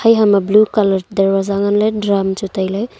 eha ma blue colour darwaja ngan le drum chu taile.